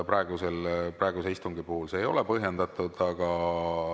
Praegusel istungil see ei ole põhjendatud.